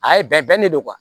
A ye bɛnnen de don